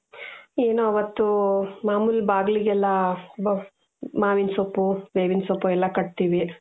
ಏನು ಅವತ್ತೂ ಮಾಮೂಲಿ ಬಾಗ್ಲಿಗೆಲ್ಲಾ ಇದು ಮಾವಿನಸೊಪ್ಪು ಬೇವಿನಸೊಪ್ಪು ಎಲ್ಲಾ ಕಟ್ತೀವಿ.